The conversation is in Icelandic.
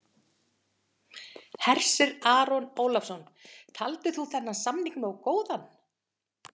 Hersir Aron Ólafsson: Taldir þú þennan samning nógu góðan?